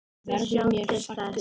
Verður mér sagt upp?